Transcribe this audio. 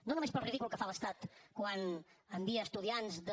no només pel ridícul que fa l’estat quan envia estudiants de